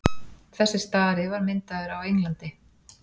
þessi stari var myndaður á englandi